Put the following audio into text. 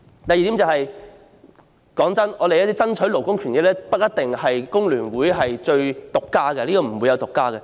第二點，爭取勞工權益的工作不是工聯會獨家的，並沒有獨家這回事。